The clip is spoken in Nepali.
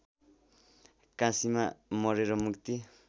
काशीमा मरेर मुक्ति